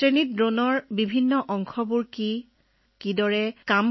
ক্লাছত ড্ৰোনৰ অংশ কি কেনেকৈ কি কৰে সকলোবোৰ তাত্ত্বিকভাৱে শিকাইছিল